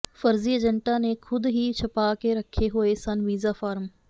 ਫਰਜ਼ੀ ਏਜੰਟਾਂ ਨੇ ਖੁਦ ਹੀ ਛਪਾ ਕੇ ਰੱਖੇ ਹੋਏ ਸਨ ਵੀਜ਼ਾ ਫਾਰਮ